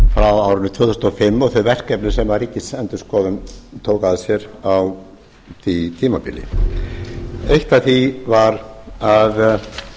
frá árinu tvö þúsund og fimm og þau verkefni sem ríkisendurskoðun tók að sér á því tímabili eitt af því